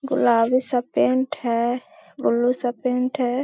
गुलाबी सा पेंट है। ब्लू सा पेंट है।